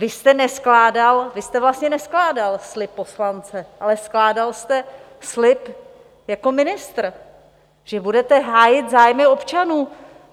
Vy jste neskládal, vy jste vlastně neskládal slib poslance, ale skládal jste slib jako ministr, že budete hájit zájmy občanů.